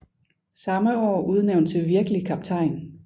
Samme år udnævnt til virkelig kaptajn